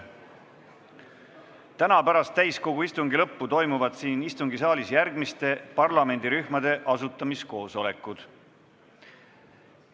Täna pärast täiskogu istungi lõppu toimuvad siin istungisaalis järgmiste parlamendirühmade asutamiskoosolekud.